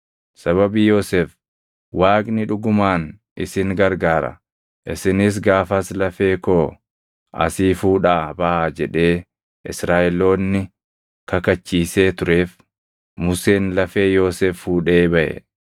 Sababii Yoosef, “Waaqni dhugumaan isin gargaara; isinis gaafas lafee koo asii fuudhaa baʼaa” jedhee Israaʼeloonni kakachiisee tureef Museen lafee Yoosef fuudhee baʼe.